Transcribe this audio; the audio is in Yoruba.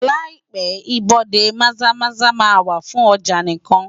Láìpé ibodè Maza-Maza máa wà fún ọjà nìkan.